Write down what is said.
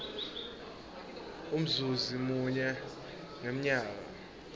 umzuzi munye ngemnyaka